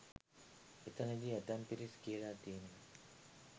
එතනදි ඇතැම් පිරිස් කියලා තියෙනවා